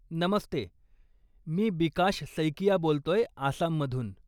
नमस्ते, मी बिकाश सैकिया बोलतोय, आसाममधून.